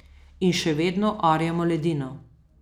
In še vedno orjemo ledino.